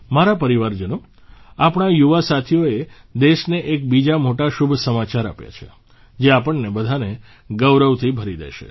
મારા પરિવારજનો આપણા યુવા સાથીઓએ દેશને એક બીજા મોટા શુભ સમાચાર આપ્યા છે જે આપણને બધાને ગૌરવથી ભરી દેશે